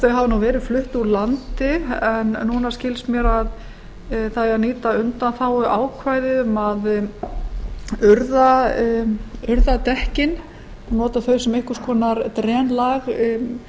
þau hafa verið flutt úr landi en núna skilst mér að það eigi að nýta undanþáguákvæði um að urða dekkin nota þau sem einhvers konar